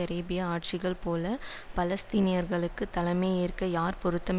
Arabia ஆட்சிகள் போல பாலஸ்தீனியர்களுக்கு தலைமையேற்க யார் பொருத்தம்